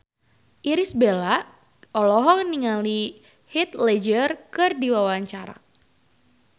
Irish Bella olohok ningali Heath Ledger keur diwawancara